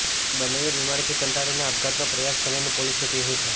બન્નેએ બીમારીથી કંટાળીને આપઘાતનો પ્રયાસ કર્યાનું પોલીસનું કહેવું છે